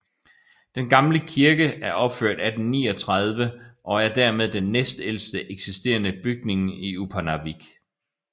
Den gamle kirke er opført 1839 og er dermed den næstældste eksisterende bygning i Upernavik